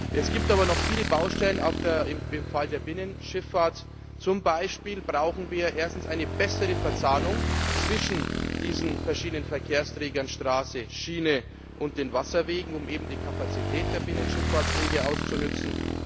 Es gibt aber noch viele Baustellen im Fall der Binnenschifffahrt Zum Beispiel brauchen wir erstens eine bessere Verzahnung zwischen diesen verschiedenen Verkehrsträgern Straße, Schiene und den Wasserwegen um die Kapazitäten der Binnenschifffahrtswege auszunutzen.